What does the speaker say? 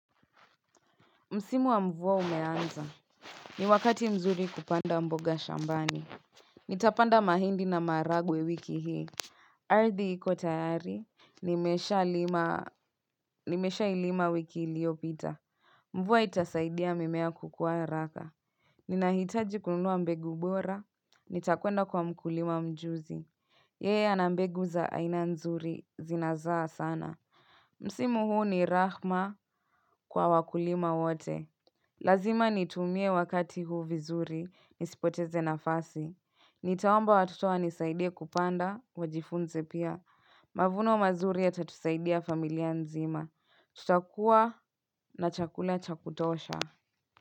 Msimu wa mvua umeanza. Ni wakati mzuri kupanda mboga shambani Nitapanda mahindi na maharagwe wiki hii Ardhi iko tayari Nimeshailima wiki iliopita Mvua itasaidia mimea kukua haraka Ninahitaji kununua mbegu bora Nitakwenda kwa mkulima mjuzi Yeye anabmbegu za aina nzuri zinazaa sana Msimu huu ni rahma kwa wakulima wote Lazima nitumie wakati huu vizuri, nisipoteze nafasi. Nitawaomba watoto wanisaidie kupanda, wajifunze pia. Mavuno mazuri yatatusaidia familia nzima. Tutakua na chakula chakutosha.